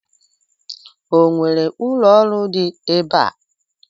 O nwere ụlọ oriri dị ebe a?